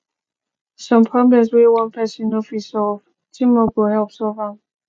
some problems wey one person no fit solve teamwork go help solve am